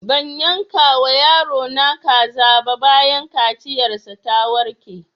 Ban yanka wa yaro na kaza ba bayan kaciyar sa ta warke